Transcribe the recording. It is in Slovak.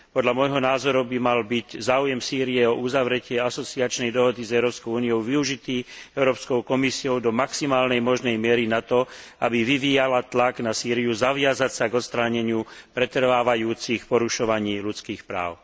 Podľa môjho názoru by mal byť záujem Sýrie o uzavretie asociačnej dohody s Európskou úniou využitý Európskou komisiou do maximálnej možnej miery na to, aby vyvíjala tlak na Sýriu zaviazať sa k odstráneniu pretrvávajúcich porušovaní ľudských práv.